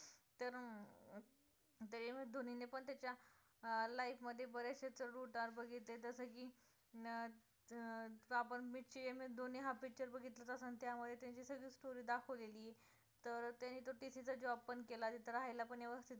त्यांनी पण त्याच्या अं life मध्ये बरेचशे चड उतार बघितले जसे की अं आपण एम एस धोनी हा picture बघितला च असेल, त्या मध्ये त्यांची सगळी story दाखवलेली तर त्यांनी तर तिथे तर job पण केला, तिथे राहायला पण व्यवस्थित room